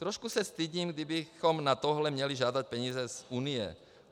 Trošku se stydím, kdybychom na tohle měli žádat peníze z Unie.